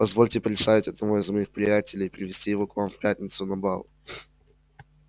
позвольте представить одного из моих приятелей и привезти его к вам в пятницу на бал